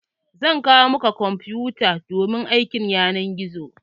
Zan kawo maka kwamfuta domin aikin yanar gizo.